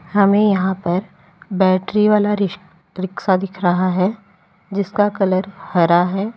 हमें यहां पर बैटरी वाला रिक रिक्शा दिख रहा है जिसका कलर हरा है।